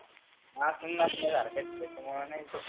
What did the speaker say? आसुन नसल्या सारख आहे त्याच्यामुळ नाहीच घेतलं.